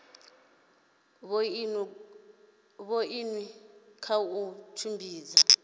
vhoina goosen kha u tshimbidza